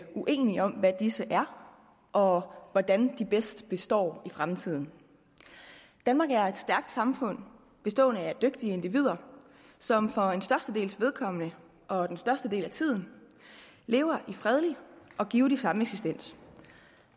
uenige om hvad disse er og hvordan de bedst består i fremtiden danmark er et stærkt samfund bestående af dygtige individer som for størstedelens vedkommende og størstedelen af tiden lever i fredelig og givtig sameksistens